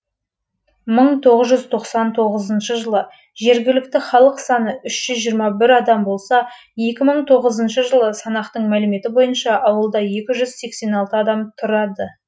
мың тоғызжүз тоқсан тоғызыншы жылы жергілікті халық саны үш жүз жиырма бір адам болса екі мың тоғызыншы жылғы санақтың мәліметтері бойынша ауылда екі жүз сексен алты адам тұрады